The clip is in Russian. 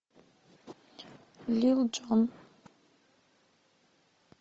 лил джон